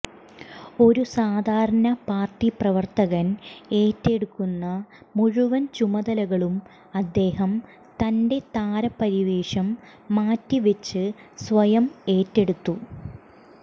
ഒരു സാധാരണ പാർട്ടി പ്രവർത്തകൻ ഏറ്റെടുക്കുന്ന മുഴുവൻ ചുമതലകളും അദ്ദേഹം തന്റെ താരപരിവേഷം മാറ്റി വച്ച് സ്വയം ഏറ്റെടുത്തു